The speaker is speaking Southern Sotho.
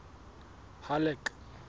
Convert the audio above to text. halleck